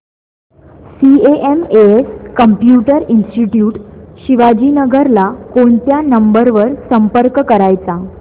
CMS computer institute Shivajinagar ला कोणत्या number वर संपर्क करायचा